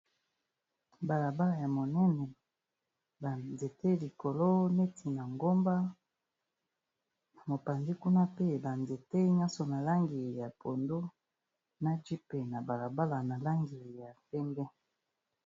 Bala bala ya monene ba nzete likolo neti na ngomba, mopanzi kuna pe ba nzete nyonso na langi ya pondu. Na jeep na bala bala na langi ya pembe.